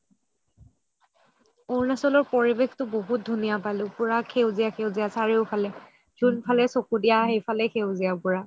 অৰুণাচলৰ পৰিৱেশটো বহুত ধুনীয়া পালো পুৰা সেউজীয়া সেউজীয়া চাৰিওফালে জোন ফালে চকো দিয়া সেই ফালেই সেউজীয়া পুৰা